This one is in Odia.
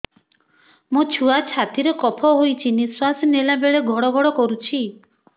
ମୋ ଛୁଆ ଛାତି ରେ କଫ ହୋଇଛି ନିଶ୍ୱାସ ନେଲା ବେଳେ ଘଡ ଘଡ କରୁଛି